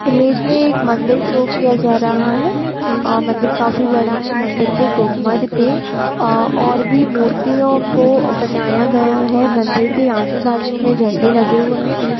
Image में एक मंदिर शो किया जा रहा है मंदिर काफी बड़ा हैं मंदिर के गुम्बद पर और भी मूर्तियों को बनाया गया है मंदिर के आजू-बाजु में झंडे लगे हुए है।